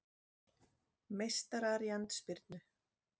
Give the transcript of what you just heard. Meistarar í andspyrnu